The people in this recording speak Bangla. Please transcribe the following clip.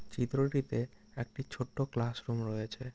চিত্রটিতে একটি ছোট্ট ক্লাস রুম রয়েছে।